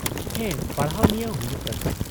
-ᱦᱮᱸ, ᱯᱟᱲᱦᱟᱣ ᱱᱤᱭᱟᱹ ᱦᱩᱭᱩᱜ ᱠᱟᱱᱟ ᱾